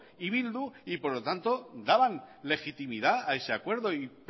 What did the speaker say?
y bildu y por lo tanto daban legitimidad a ese acuerdo y